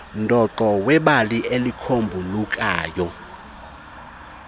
dooqo webali elicombulukayo